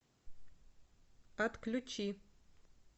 отключи